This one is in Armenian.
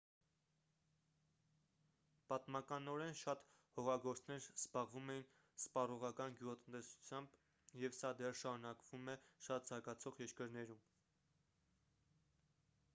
պատմականորեն շատ հողագործներ զբաղվում էին սպառողական գյուղատնտեսությամբ և սա դեռ շարունակվում է շատ զարգացող երկրներում